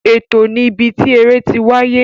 Ètò ni ibi tí eré tí wáyé